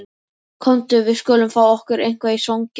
Komdu, við skulum fá okkur eitthvað í svanginn